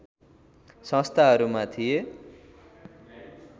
संस्थाहरूमा थिए